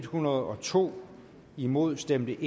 hundrede og to imod stemte